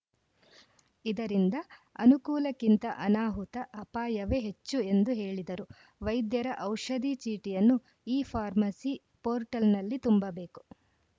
ಇದರಿಂದ ಅನುಕೂಲಕ್ಕಿಂತ ಅನಾಹುತ ಅಪಾಯವೇ ಹೆಚ್ಚು ಎಂದು ಹೇಳಿದರು ವೈದ್ಯರ ಔಷಧಿ ಚೀಟಿಯನ್ನು ಇಫಾರ್ಮಸಿ ಪೋರ್ಟಲ್‌ನಲ್ಲಿ ತುಂಬಬೇಕು